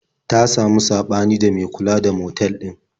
Ta samu saɓani da mai kula da motal ɗin.